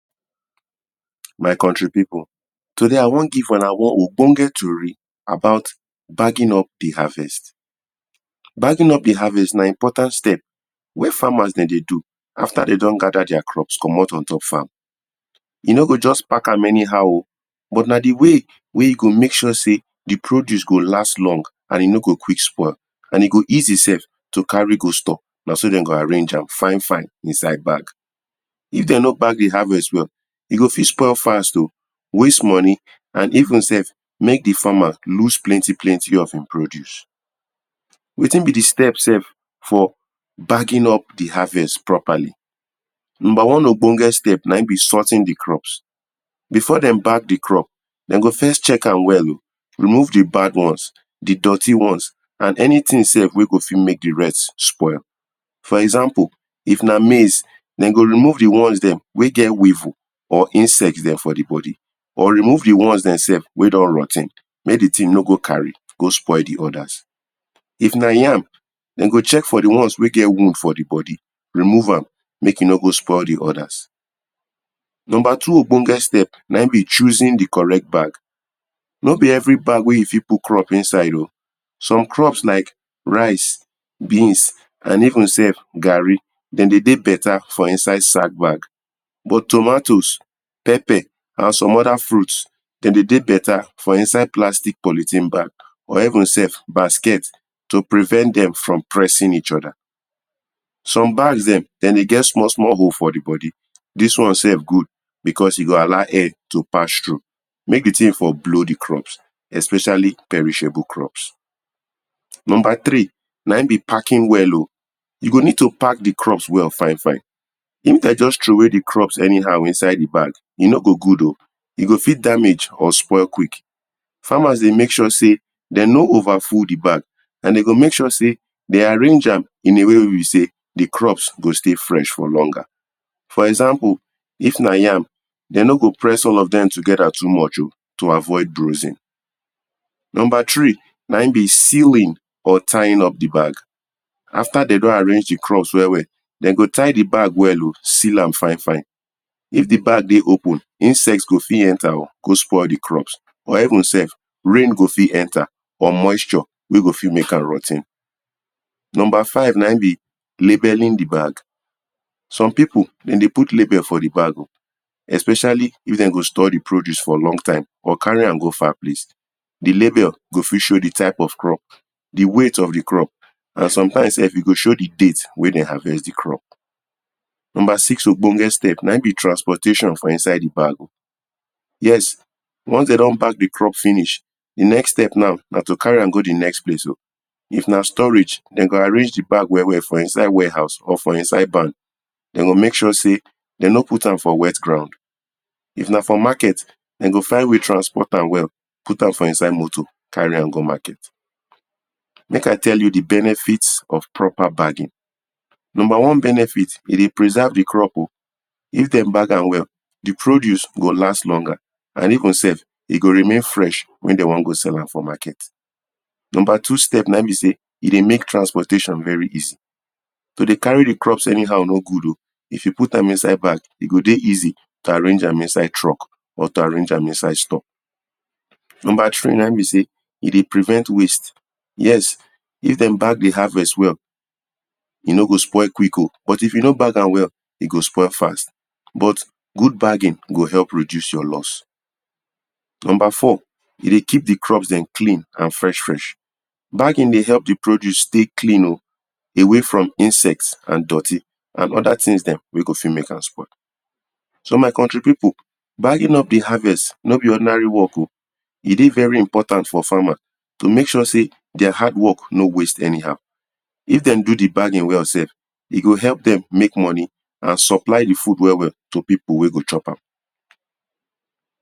My country pipu today I won give una wan ogboge tori about backing up di harvest. Backing up di harvest na important step wey farmers dem dey do afta de don gather their crops commot ontop farm. E no go just pack am any how o but na di way wey you go mek sure sey di produce go last long and e no go quick spoil and e go easy self to carry go store na so den go arrange am fine back. If dem no pack di harvest well, e go wast moni and even sef mek di farmers loose plenty plenty of di wetin be di steps eh for backing up di harvest properly. Number one ogbonge steps na in be sorting di crops. If den won sort di crops, den go first remove di bad ones, di doty ones and anything wey fi mek di good ones spoil. For eampe, if na maize, den go remove di ones dem wey get weave for di bodi, or remove di one wey don dirty mek di thing no go carry go spoil di others. If na yam, den go check for di ones wey get wound for di bodi, remove am mek e no go spoil di others. Number two ogbonge steps na choosing di correct bag o, no be everi bag you fit put crop inside, some crops like rice, beans, and een sef garri, den dey dey beta for inside sac bag, bu for tomatoes, de dey dey beta for inside polythene or even sef to prevent dem from pressing eachother. Some bags dem e dey get small small hole for bodi, dis one sef good because e go allow air to pass through mek di thing for blw di crops especially perishable crops wey. Number three, na in be packing well o. you o need to pack di bag fine if de just throw away di crops ayhow inside di bag, e no go good o, den go full di bag quick and farmers go mek sure sey de no over full di bag and farmers go mek sure sey de no over full di bag and de go mek sure sey di crop over for life.for example if na yam, de no go place all of dem together to avoid closing. Numer three na in be sewing or tying up di bag, after de don arrange di crop well well, de go ti ght di bag den go seal am, insect go fit enter go spoil di crop or instead, rain go fit enter or moisture go fit mek am rot ten. Number five na in be labelling di bag, some pipu de dey put lebel di bag o especially if dem go store di produce for a long time carry am go farm di label fit show di money at rude and sometimes e go show di date wen den harvest di crop. Number six ogbonge step na in be transportation for inside di bag yes once dey don bagdi crop finiah, na to carry am go di next place o. if na storage, de go mek sure sey den rrange di bag well well for inside werehouse or for inside bag, de go mek sure sey e no dey for ordinary groud. If na for market, de go find way transform am well, put am for inside motor carry am go market. Mek I tell you di benefit of proper bagging. N umber one benefit e dey preserve di crop oh if dem bag am well di produce go last longer and e no e go m ek sure remain fresh wen de won go sell am for market. Number two step na in be sey e dey mek transportation very easy. To dey carry di crops no good o, if you put am inside bag, e go dey easy to arrange am inside truck number three na in be sey e dey prevent waste, if dem bag di harvest well, e no go spoil quick, if dem no bag am well e go spoil fast but good bagging, go help reduce your loss. Number four, you dey keep di crops den clean and fresh fresh from insect. Bagging dey help di produce stay clean o, away from insect and dirty and other things dem wey go fit mek am spoil. So my country pipu, bagging up di harvest e dey very important for farmer to mek sure sey their hard work no just waste, if dem do di baking well, e go help you mek moni and supply di food well well to pipu wey go chop am.